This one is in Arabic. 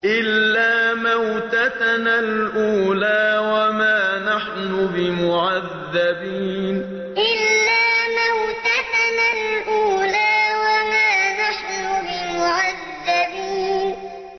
إِلَّا مَوْتَتَنَا الْأُولَىٰ وَمَا نَحْنُ بِمُعَذَّبِينَ إِلَّا مَوْتَتَنَا الْأُولَىٰ وَمَا نَحْنُ بِمُعَذَّبِينَ